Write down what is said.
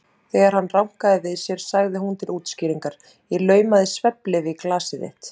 Þegar hann rankaði við sér sagði hún til útskýringar: Ég laumaði svefnlyfi í glasið þitt.